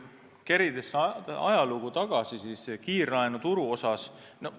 Kerime siis kiirlaenuturu ajalugu tagasi.